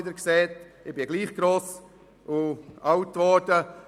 Ich wurde trotzdem gross und alt.